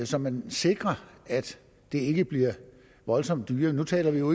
så man sikrer at det ikke bliver voldsomt dyrere nu taler vi jo